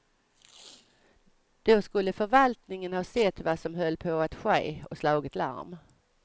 Då skulle förvaltningen ha sett vad som höll på att ske och slagit larm.